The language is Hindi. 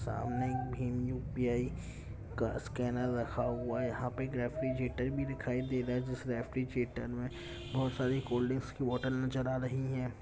सामने एक भीम यू _पी _आई का स्केनर रखा हुवा है यहाँ पे एक रेफरिजेटर भी दिखाई दे रहा है जिस रेफरिजेटर मे बोहोत सारी कॉलडरींग की बोटल नजर आ रही है।